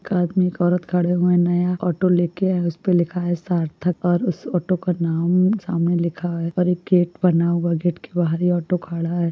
एक आदमी और एक औरत खड़े हुए है नया ऑटो लेके आउट उस पे लिखा है सार्थक और उस ऑटो का नाम सामने लिखा है और एक गेट बना है गेट के बहार ही ऑटो खड़ा है।